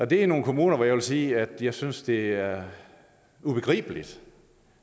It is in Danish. det er nogle kommuner hvor jeg vil sige at jeg synes det er ubegribeligt